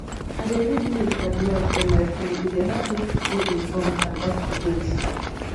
i dey read news or blogs on my phone e dey help me to stay informed and uptodate